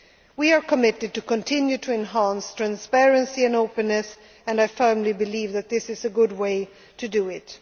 proposal. We are committed to continuing to enhance transparency and openness, and I firmly believe that this is a good way